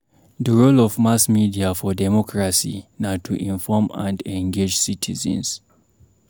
The role of mass media for democracy na to inform and engage citizens.